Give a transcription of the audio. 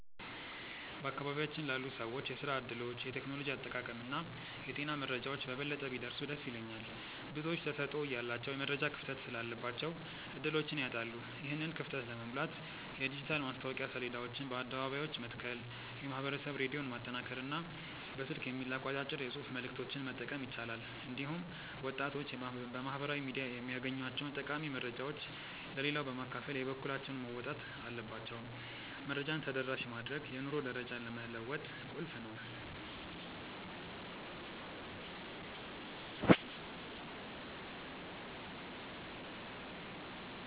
በአካባቢያችን ላሉ ሰዎች የሥራ ዕድሎች፣ የቴክኖሎጂ አጠቃቀምና የጤና መረጃዎች በበለጠ ቢደርሱ ደስ ይለኛል። ብዙዎች ተሰጥኦ እያላቸው የመረጃ ክፍተት ስላለባቸው ዕድሎችን ያጣሉ። ይህንን ክፍተት ለመሙላት የዲጂታል ማስታወቂያ ሰሌዳዎችን በአደባባዮች መትከል፣ የማኅበረሰብ ሬዲዮን ማጠናከርና በስልክ የሚላኩ አጫጭር የጽሑፍ መልዕክቶችን መጠቀም ይቻላል። እንዲሁም ወጣቶች በማኅበራዊ ሚዲያ የሚያገኟቸውን ጠቃሚ መረጃዎች ለሌላው በማካፈል የበኩላቸውን መወጣት አለባቸው። መረጃን ተደራሽ ማድረግ የኑሮ ደረጃን ለመለወጥ ቁልፍ ነው።